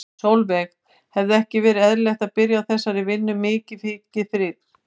Sólveig: Hefði ekki verið eðlilegt að byrja á þessari vinnu mikið mikið fyrr?